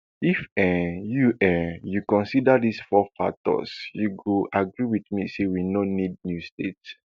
if um you um you consider dis four factors you go agree wit me say we no need new states